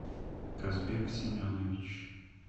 казбек семенович